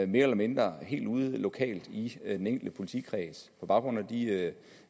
mere eller mindre og helt ude lokalt i den enkelte politikreds på baggrund af de